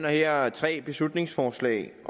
her tre beslutningsforslag